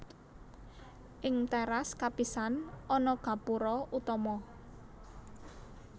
Ing téras kapisan ana gapura utama